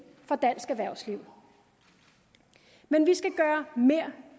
for dansk erhvervsliv men vi skal gøre mere